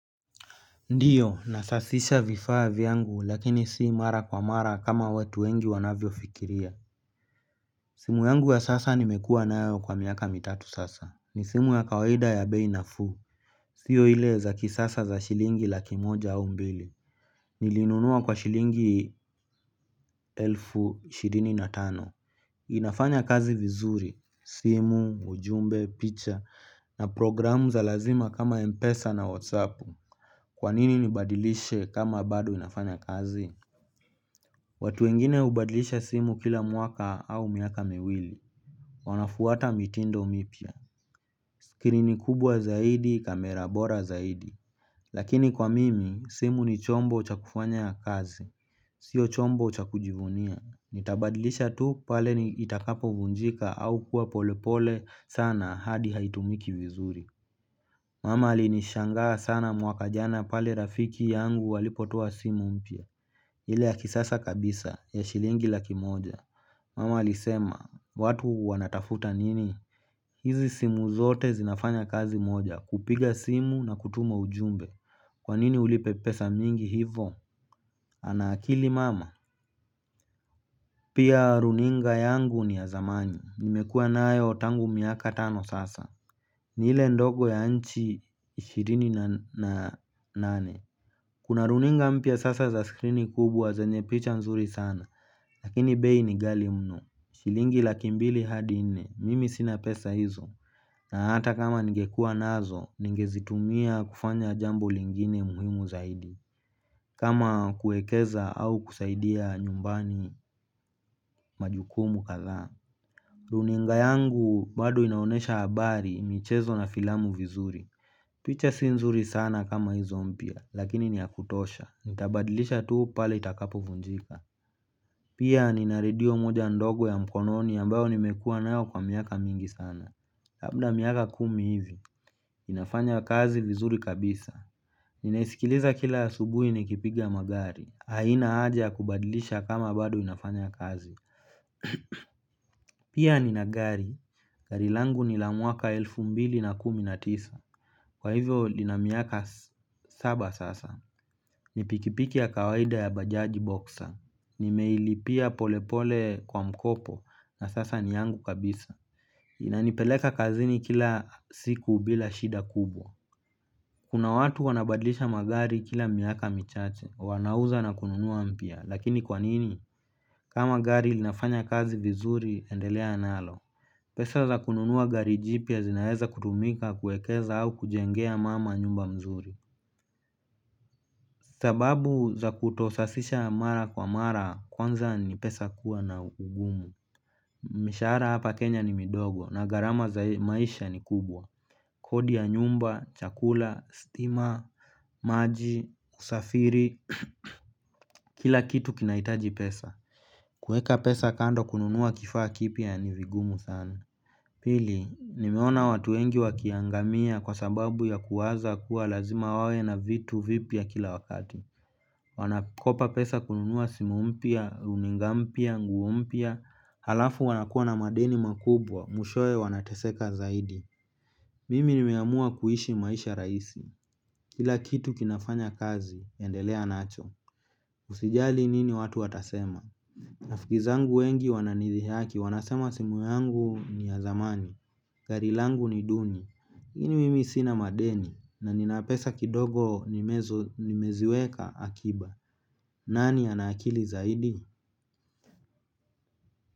Ndio nasazisha vifaa vyangu lakini si mara kwa mara kama watu wengi wanavyofikiria simu yangu ya sasa nimekuwa nayo kwa miaka mitatu sasa. Ni simu ya kawaida ya bei nafuu. Sio ile za kisasa za shilingi laki moja au mbili. Nilinunua kwa shilingi elfu ishirini na tano, inafanya kazi vizuri, simu ujumbe, picha na programu za lazima kama mpesa na WhatsApp. Kwa nini nibadilishe kama bado zinafanya kazi watu wengine hubadilisha simu kila mwaka au miaka miwili. Wanafuata mitindo mipya skirini kubwa zaidi kamera bora zaidi lakini kwa mimi simu ni chombo cha kufanya kazi sio chombo cha kujivunia. Nitabadilisha tu pale itakapo vunjika au kuwa pole pole sana hadi haitumiki vizuri mama alinishangaa sana mwaka jana pale rafiki yangu alipotoa simu mpya ile ya kisasa kabisa ya shilingi laki moja mama alisema watu wanatafuta nini hizi simu zote zinafanya kazi moja kupiga simu na kutuma ujumbe kwa nini ulipe pesa mingi hivo ana akili mama pia runinga yangu ni ya zamani nimekuwa nayo tangu miaka tano sasa ni ile ndogo ya inches ishirini na nane kuna runinga mpya sasa za skrini kubwa zenye picha mzuri sana lakini bei ni ghali mno, shilingi laki mbili hadi nne, mimi sina pesa hizo, na hata kama ningekuwa nazo, ningezitumia kufanya jambo lingine muhimu zaidi, kama kuekeza au kusaidia nyumbani majukumu kadhaa. Runinga yangu bado inaonyesha habari, michezo na filamu vizuri. Picha si nzuri sana kama hizo mpya, lakini ni ya kutosha. Nitabadilisha tu pale itakapovunjika. Pia nina radio moja ndogo ya mkononi ambayo nimekuwa nayo kwa miaka mingi sana. Labda miaka kumi hivi, inafanya kazi vizuri kabisa. Ninaisikiliza kila asubuhi nikipiga magari. Haina haja ya kubadilisha kama bado inafanya kazi. Pia nina gari, gari langu ni la mwaka elfu mbili na kumi na tisa. Kwa hivyo lina miaka saba sasa, ni pikipiki ya kawaida ya bajaji boxer, nimeilipia polepole kwa mkopo na sasa ni yangu kabisa. Inanipeleka kazini kila siku bila shida kubwa kuna watu wanabadilisha magari kila miaka michache, wanauza na kununua mpya, lakini kwa nini? Kama gari linafanya kazi vizuri, endelea nalo pesa za kununua gari jipya zinaweza kutumika kuekeza au kujengea mama nyumba mzuri sababu za kutosasisha mara kwa mara kwanza ni pesa kuwa na ugumu. Mishahara hapa Kenya ni midogo na gharama za maisha ni kubwa. Kodi ya nyumba, chakula, stima, maji, usafiri, kila kitu kinahitaji pesa kuweka pesa kando kununua kifaa kipya ni vigumu sana pili, nimeona watu wengi wakiangamia kwa sababu ya kuwaza kuwa lazima wawe na vitu vipya kila wakati. Wanakopa pesa kununua simu mpya, runinga mpya, nguo mpya alafu wanakuwa na madeni makubwa, mwishowe wanateseka zaidi mimi nimeamua kuishi maisha rahisi kila kitu kinafanya kazi, endelea nacho. Usijali nini watu watasema rafiki zangu wengi wananidhihaki, wanasema simu yangu ni ya zamani gari langu ni duni. Iakini mimi sina madeni na nina pesa kidogo nimeziweka akiba nani ana akili zaidi?